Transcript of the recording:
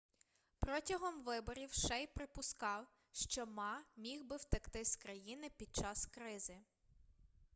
протягом виборів шей припускав що ма міг би втекти з країни під час кризи